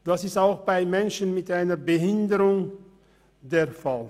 Das ist auch bei Menschen mit einer Behinderung der Fall.